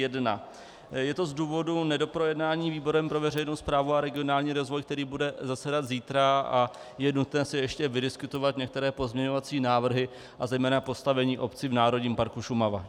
Je to z důvodu nedoprojednání výborem pro veřejnou správu a regionální rozvoj, který bude zasedat zítra, a je nutné si ještě vydiskutovat některé pozměňovací návrhy a zejména postavení obcí v Národním parku Šumava.